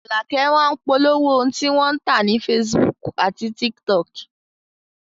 Àlàkẹ́ máá ń polówó ohun tí wọ́n ń tà ní facebook àti tiktok